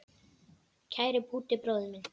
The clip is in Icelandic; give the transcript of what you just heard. Kæri Búddi bróðir minn.